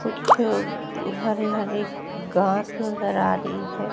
कुछ हरे हरे घास नजर आ रहे हैं।